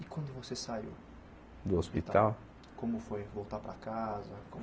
E quando você saiu do hospital, como foi voltar para casa?